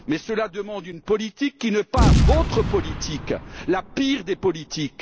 Mais cela demande une politique qui n'est pas votre politique, la pire des politiques.